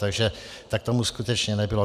Takže tak tomu skutečně nebylo.